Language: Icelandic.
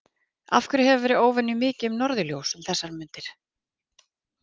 Af hverju hefur verið óvenju mikið um norðurljós um þessar mundir?